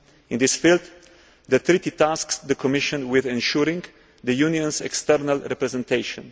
In this field, the treaty tasks the Commission with ensuring the Union's external representation.